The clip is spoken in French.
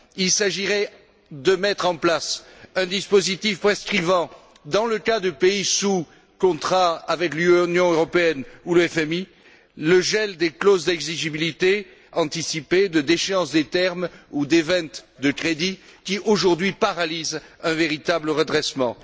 Il s'agirait de mettre en place un dispositif prescrivant dans le cas de pays sous contrat avec l'Union européenne ou le FMI le gel des clauses d'exigibilité anticipée, de déchéance des termes ou des événements de crédit qui, aujourd'hui, empêchent un véritable redressement.